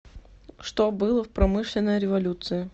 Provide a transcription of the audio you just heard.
что было в промышленная революция